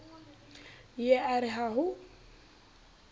ye a re ha ho